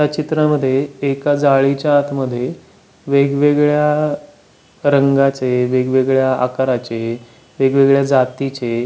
या चित्रामध्ये एक जाळीच्या आत मध्ये वेगवेगळ्या रंगाचे वेगवेगळ्या आकाराचे वेगवेगळ्या जातीचे--